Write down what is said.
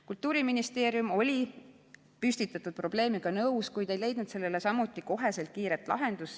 Kultuuriministeerium oli püstitatud probleemiga nõus, kuid ei leidnud sellele samuti kohest kiiret lahendust.